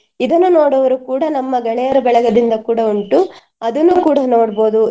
ಇದನ್ನು ನೋಡುವವರು ಕೂಡ ನಮ್ಮ ಗೆಳೆಯರ ಬಳಗದಿಂದ ಕೂಡ ಉಂಟು ಅದನ್ನು ಕೂಡ ನೋಡ್ಬೋದು.